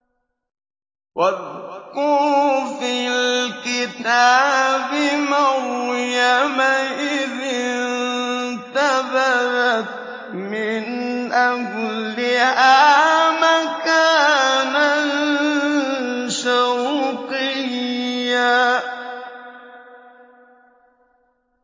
وَاذْكُرْ فِي الْكِتَابِ مَرْيَمَ إِذِ انتَبَذَتْ مِنْ أَهْلِهَا مَكَانًا شَرْقِيًّا